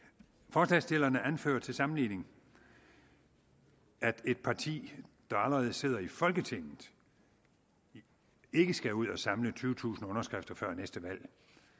forslagsstillerne anfører til sammenligning at et parti der allerede sidder i folketinget ikke skal ud at samle tyvetusind underskrifter før næste valg